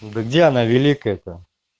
да где она великая это